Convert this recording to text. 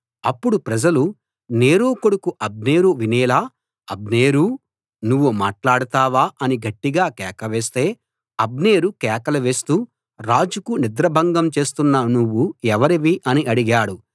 అప్పుడు ప్రజలు నేరు కొడుకు అబ్నేరు వినేలా అబ్నేరూ నువ్వు మాట్లాడతావా అని గట్టిగా కేకవేస్తే అబ్నేరు కేకలు వేస్తూ రాజుకు నిద్రాభంగం చేస్తున్న నువ్వు ఎవరివి అని అడిగాడు